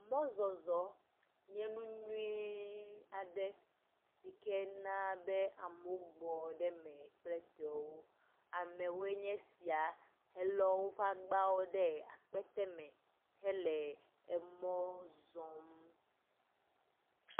Mɔzɔzɔ nye nu nyuie aɖe sike na be ame gbɔ ɖe eme kple tɔewɔ. Amewo nye esia sike lɔ woƒe agbawo ɖe akpete me hele emɔ zɔm.